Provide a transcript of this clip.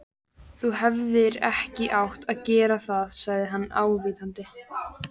Þú hefðir ekki átt að gera það sagði hann ávítandi.